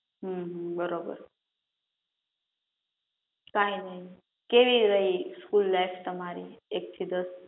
હમ બરોબર કાઈં નહીં કેવી રહી સ્કૂલ લાઈફ તમારી એક થી દસ?